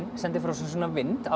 sendir frá sér svona vind alveg